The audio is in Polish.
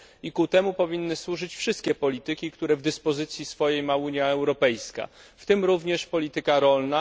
I temu powinny służyć wszystkie polityki, które w dyspozycji swojej ma Unia Europejska, w tym również polityka rolna.